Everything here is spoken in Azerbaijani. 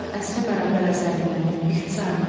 Gün var əsrə bərabər əsərindən, ixtisarla.